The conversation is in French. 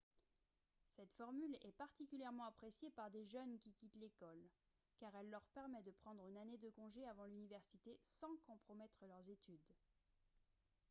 cette formule est particulièrement appréciée par des jeunes qui quittent l'école car elle leur permet de prendre une année de congé avant l'université sans compromettre leurs études